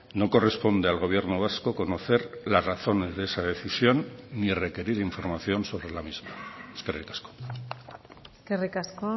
no corresponde al gobierno vasco conocer las razones de esa decisión ni requerir información sobre la misma eskerrik asko eskerrik asko